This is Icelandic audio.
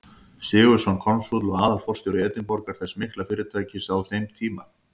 Sigurðsson, konsúll og aðalforstjóri Edinborgar, þess mikla fyrirtækis á þeim tíma.